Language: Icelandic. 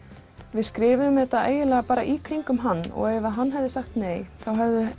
við skrifuðum þetta í kringum hann og ef hann hefði sagt nei